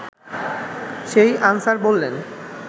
সেই আনসার বললেন